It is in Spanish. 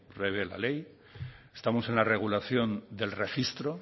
prevé la ley estamos en la regulación del registro